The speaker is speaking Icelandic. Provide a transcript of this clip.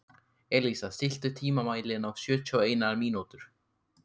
Elísa, stilltu tímamælinn á sjötíu og eina mínútur.